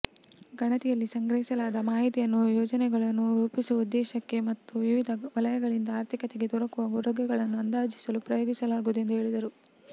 ಗಣತಿಯಲ್ಲಿ ಸಂಗ್ರಹಿಸಲಾದ ಮಾಹಿತಿಯನ್ನು ಯೋಜನೆಗಳನ್ನು ರೂಪಿಸುವ ಉದ್ದೇಶಕ್ಕೆ ಮತ್ತು ವಿವಿಧ ವಲಯಗಳಿಂದ ಆರ್ಥಿಕತೆಗೆ ದೊರಕುವ ಕೊಡುಗೆಗಳನ್ನು ಅಂದಾಜಿಸಲು ಉಪಯೋಗಿಸಲಾಗುವುದೆಂದು ಹೇಳಿದರು